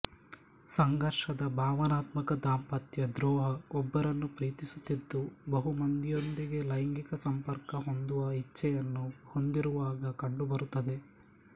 ಸಂಘರ್ಷದ ಭಾವನಾತ್ಮಕ ದಾಂಪತ್ಯ ದ್ರೋಹ ಒಬ್ಬರನ್ನು ಪ್ರೀತಿಸುತ್ತಿದ್ದು ಬಹುಮಂದಿಯೊಂದಿಗೆ ಲೈಂಗಿಕ ಸಂಪರ್ಕ ಹೊಂದುವ ಇಚ್ಛೆಯನ್ನು ಹೊಂದಿರುವಾಗ ಕಂಡುಬರುತ್ತದೆ